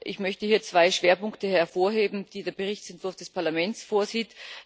Ich möchte hier zwei Schwerpunkte hervorheben, die der Berichtsentwurf des Parlaments vorsieht.